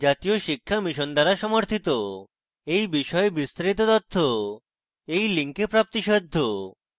এই বিষয়ে বিস্তারিত তথ্য এই link প্রাপ্তিসাধ্য